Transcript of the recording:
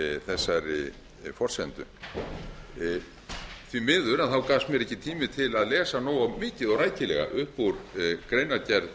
þessari forsendur því miður gafst mér ekki tími til að lesa nógu mikið og rækilega upp úr greinargerð